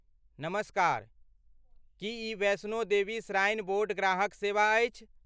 नमस्कार! की ई वैष्णो देवी श्राइन बोर्ड ग्राहक सेवा अछि?